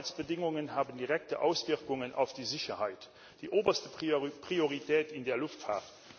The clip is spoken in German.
Die Arbeitsbedingungen haben direkte Auswirkungen auf die Sicherheit, die oberste Priorität in der Luftfahrt.